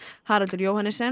Haraldur